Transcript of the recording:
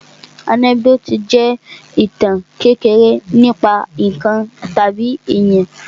Ànẹ́kídòtì jẹ́ ìtàn kékeré nípa ǹkan tàbí èyàn.